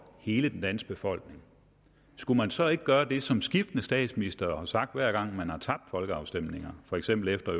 hele den danske befolkning skulle man så ikke gøre det som skiftende statsministre har sagt hver gang man har tabt folkeafstemninger for eksempel efter